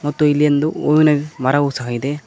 ಮತ್ತು ಇಲ್ಲಿ ಒಂದು ಹೂವಿನ ಮರವು ಸಹ ಇದೆ.